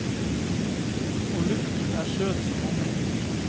Og luften er søt som honning.